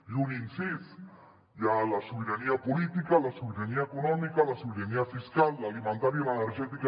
i un incís hi ha la sobirania política la sobirania econòmica la sobirania fiscal l’alimentària i l’energètica